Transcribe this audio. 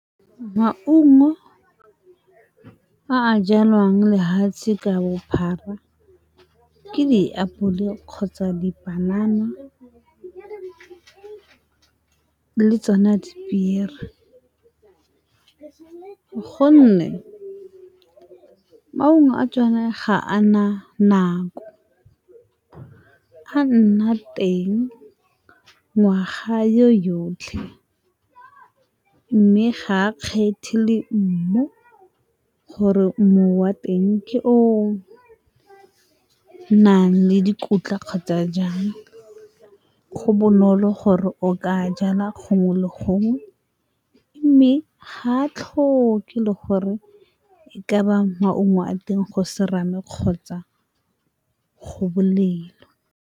Maungo a a jalwang lehatshe ka bophara, ke diapole kgotsa dipanana le tsona dipiere. Gonne maungo a tsone ga a na nako, a nna teng ngwaga yo yotlhe, mme ga a kgethe le mmu gore mmu wa teng ke o nang le dikotla kgotsa jang. Go bonolo gore o ka jala gongwe le gongwe, mme ga a tlhoke le gore e ka ba maungo a teng go serame kgotsa go bolelo.